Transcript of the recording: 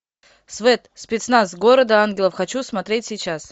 свэт спецназ города ангелов хочу смотреть сейчас